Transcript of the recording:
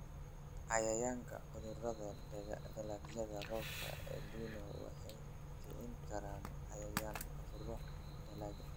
"Cayayaanka/cudurada dalagyada roobka El Nino waxay kicin karaan cayayaan/cudurro dalagga.